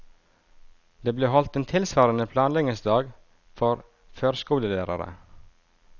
Det ble holdt en tilsvarende planleggingsdag for førskolelærere.